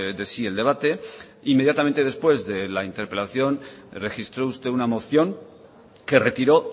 de sí el debate inmediatamente después de la interpelación registro usted una moción que retiró